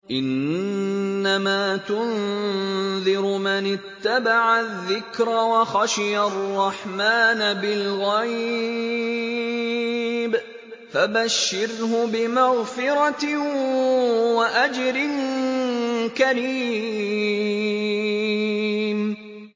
إِنَّمَا تُنذِرُ مَنِ اتَّبَعَ الذِّكْرَ وَخَشِيَ الرَّحْمَٰنَ بِالْغَيْبِ ۖ فَبَشِّرْهُ بِمَغْفِرَةٍ وَأَجْرٍ كَرِيمٍ